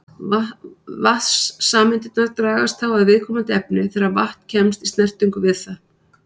Vatnssameindirnar dragast þá að viðkomandi efni þegar vatn kemst í snertingu við það.